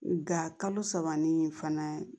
Nka kalo saba nin fana